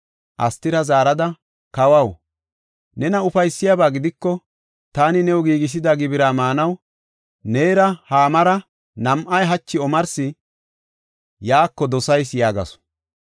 Astira zaarada, “Kawaw, nena ufaysiyabaa gidiko, taani new giigisida gibira maanaw neera Haamara nam7ay hachi omarsi yaako dosayis” yaagasu.